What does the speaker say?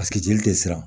jeli tɛ siran